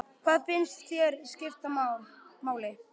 Hvað finnst þér skipta máli?